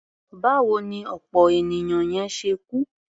Báwo ni ọ̀pọ̀ ènìyàn yẹn ṣe kú?